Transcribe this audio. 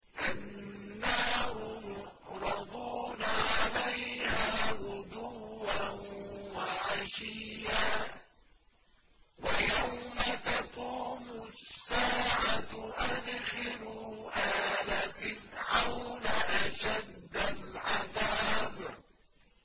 النَّارُ يُعْرَضُونَ عَلَيْهَا غُدُوًّا وَعَشِيًّا ۖ وَيَوْمَ تَقُومُ السَّاعَةُ أَدْخِلُوا آلَ فِرْعَوْنَ أَشَدَّ الْعَذَابِ